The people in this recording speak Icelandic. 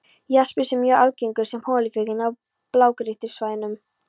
Jaspis er mjög algengur sem holufylling á blágrýtissvæðunum.